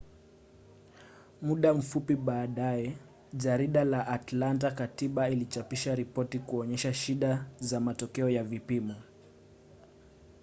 muda mfupi baadaye jarida la atlanta-katiba lilichapisha ripoti kuonyesha shida za matokeo ya vipimo